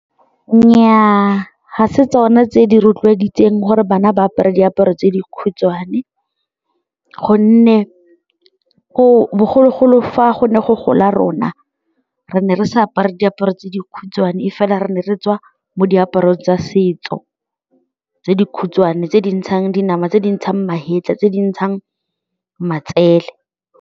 Nnyaa, ga se tsone tse di rotloeditseng gore bana ba apare diaparo tse dikhutshwane gonne o bogologolo fa go ne go gola rona re ne re sa apare diaparo tse dikhutshwane e fela re ne re tswa mo diaparong tsa setso tse dikhutshwane tse di ntshang dinama, tse di ntshang magetla, tse di ntshang matsele.